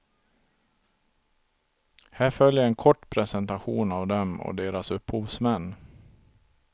Här följer en kort presentation av dem och deras upphovsmän.